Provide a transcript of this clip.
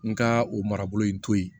N ka o marabolo in to yen